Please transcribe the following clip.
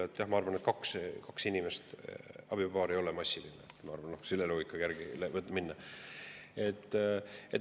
Nii et jah, ma arvan, et kui on kaks inimest, abielupaar, siis see ei ole massiline, kui selle loogika järgi minna.